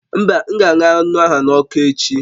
Mba, m ga-aṅụ anụ wa n'ọkụ echi